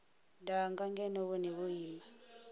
danga ngeno vhone vho ima